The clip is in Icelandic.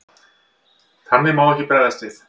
Þannig má ekki bregðast við.